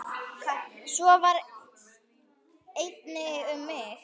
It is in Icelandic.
Svo var einnig um mig.